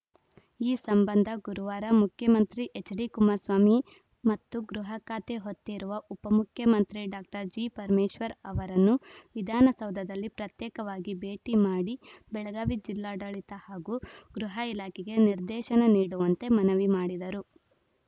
ಈ ಸಂಬಂಧ ಗುರುವಾರ ಮುಖ್ಯಮಂತ್ರಿ ಎಚ್‌ಡಿಕುಮಾರಸ್ವಾಮಿ ಮತ್ತು ಗೃಹ ಖಾತೆ ಹೊತ್ತಿರುವ ಉಪಮುಖ್ಯಮಂತ್ರಿ ಡಾಕ್ಟರ್ ಜಿಪರಮೇಶ್ವರ್ ಅವರನ್ನು ವಿಧಾನಸೌಧದಲ್ಲಿ ಪ್ರತ್ಯೇಕವಾಗಿ ಭೇಟಿ ಮಾಡಿ ಬೆಳಗಾವಿ ಜಿಲ್ಲಾಡಳಿತ ಹಾಗೂ ಗೃಹ ಇಲಾಖೆಗೆ ನಿರ್ದೇಶನ ನೀಡುವಂತೆ ಮನವಿ ಮಾಡಿದರು